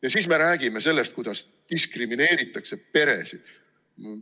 Ja siis me räägime sellest, kuidas diskrimineeritakse peresid!